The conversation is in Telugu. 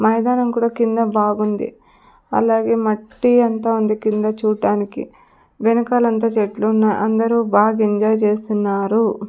మైదానం కూడా కింద బాగుంది అలాగే మట్టి అంతా ఉంది కింద చూట్టానికి వెనకాలంతా చెట్లున్నాయి అందరూ బాగా ఎంజాయ్ చేస్తున్నారు.